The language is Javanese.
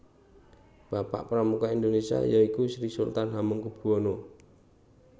Bapak Pramuka Indonesia yaiku Sri Sultan Hamengkubuwono